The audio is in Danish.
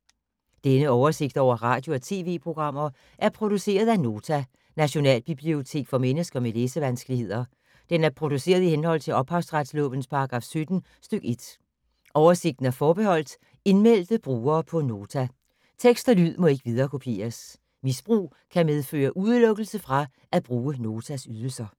Denne oversigt over radio og TV-programmer er produceret af Nota, Nationalbibliotek for mennesker med læsevanskeligheder. Den er produceret i henhold til ophavsretslovens paragraf 17 stk. 1. Oversigten er forbeholdt indmeldte brugere på Nota. Tekst og lyd må ikke viderekopieres. Misbrug kan medføre udelukkelse fra at bruge Notas ydelser.